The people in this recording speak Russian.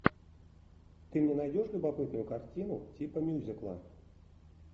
ты мне найдешь любопытную картину типа мюзикла